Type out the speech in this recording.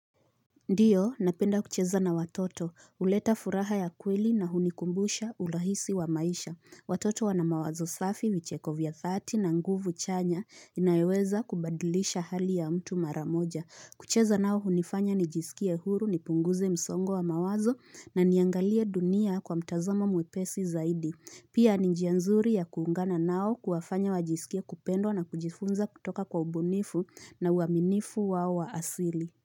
Ndiyo, napenda kucheza na watoto, uleta furaha ya kweli na hunikumbusha urahisi wa maisha. Watoto wana mawazo safi vicheko vya thati na nguvu chanya inayoyeweza kubadilisha hali ya mtu maramoja. Kucheza nao hunifanya nijisikie huru ni punguze msongo wa mawazo na niangalie dunia kwa mtazamo mwepesi zaidi. Pia ni njianzuri ya kuungana nao kuwafanya wajisikie kupendwa na kujifunza kutoka kwa ubunifu na uaminifu wao wa asili.